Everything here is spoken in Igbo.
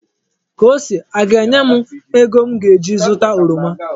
Kosi aga-enye m ego m ga-eji zụta oroma?